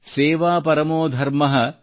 ಸೇವಾ ಪರಮೋ ಧರ್ಮಃ